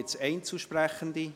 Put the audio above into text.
Gibt es Einzelsprechende?